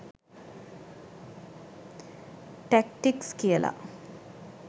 Tactics කියලා.